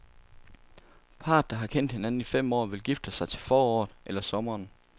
Parret, der har kendt hinanden i fem år, vil gifte sig til foråret eller sommeren.